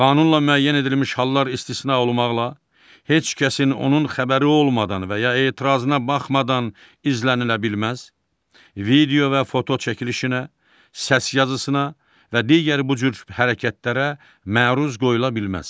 Qanunla müəyyən edilmiş hallar istisna olmaqla, heç kəsin onun xəbəri olmadan və ya etirazına baxmadan izlənilə bilməz, video və foto çəkilişinə, səs yazısına və digər bu cür hərəkətlərə məruz qoyula bilməz.